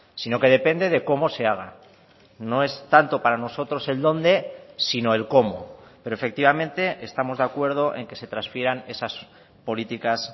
sino que depende de cómo se haga no es tanto para nosotros el dónde sino el cómo pero efectivamente estamos de acuerdo en que se transfieran esas políticas